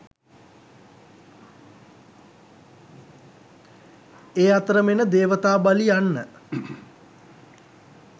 ඒ අතරම එන දේවතා බලි යන්න